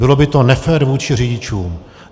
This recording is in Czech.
Bylo by to nefér vůči řidičům.